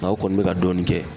Nga u kɔni be ka dɔɔni kɛ.